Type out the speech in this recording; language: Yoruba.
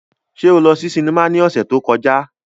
Ṣe o lọ si sinima ni ọsẹ to kọja?